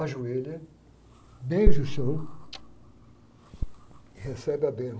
ajoelha, beija o chão, e recebe a benção.